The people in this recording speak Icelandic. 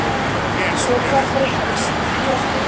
Svo hvað breyttist?